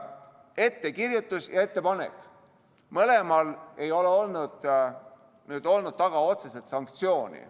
Ettekirjutus ja ettepanek – kummalgi ei ole olnud taga otseselt sanktsiooni.